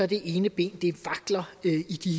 det ene ben i de